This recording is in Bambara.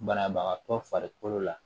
Banabagatɔ farikolo la